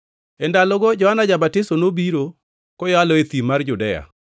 E ndalogo Johana ja-Batiso nobiro, koyalo e thim mar Judea,